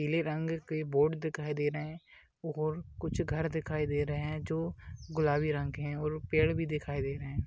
पीले रंग के बोर्ड दिखाई दे रहे हैं और कुछ घर दिखाई दे रहे हैं जो गुलाबी रंग के हैं और पेड़ भी दिखाई दे रहे हैं।